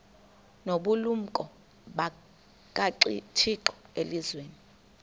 nobulumko bukathixo elizwini